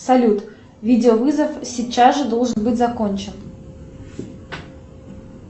салют видеовызов сейчас же должен быть закончен